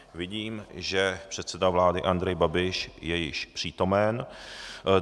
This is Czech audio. Vidím, že předseda vlády Andrej Babiš je již přítomen.